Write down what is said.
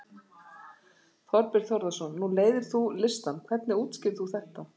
Þorbjörn Þórðarson: Nú leiðir þú listann, hvernig útskýrir þú þetta?